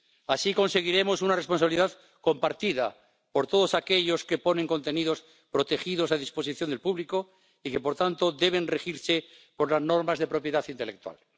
Así conseguiremos una responsabilidad compartida por todos aquellos que ponen contenidos protegidos a disposición del público y que, por tanto, deben regirse por las normas de propiedad intelectual.